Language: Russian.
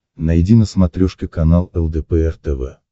найди на смотрешке канал лдпр тв